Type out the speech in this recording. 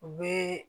U bɛ